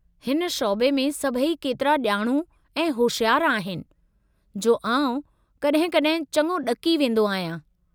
हिन शौबे में सभई केतिरा ॼाणू ऐं होशियारु आहिनि, जो आउं कॾहिं कॾहिं चङो ॾकी वेंदो आहियां।